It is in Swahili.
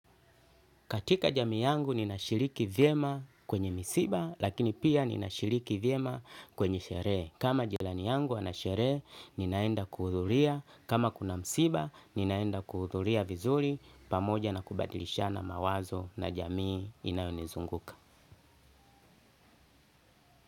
Katika jamii yangu ninashiriki vyema kwenye misiba lakini pia ninashiriki vyema kwenye sherehe. Kama jirani yangu ana sherehe ninaenda kuhudhuria. Kama kuna msiba ninaenda kuhudhuria vizuri pamoja na kubadilishana mawazo na jamii inayonizunguka.